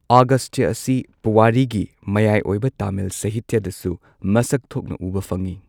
ꯑꯒꯁꯇ꯭ꯌꯥ ꯑꯁꯤ ꯄꯨꯋꯥꯔꯤꯒꯤ ꯃꯌꯥꯏ ꯑꯣꯏꯕ ꯇꯥꯃꯤꯜ ꯁꯍꯤꯇ꯭ꯌꯥꯗꯁꯨ ꯃꯁꯛ ꯊꯣꯛꯅ ꯎꯕ ꯐꯪꯏ꯫